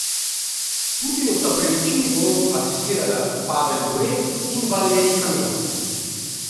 Putinu sta pri večini golov asistirala Pavel Bure in Valeri Kamenski.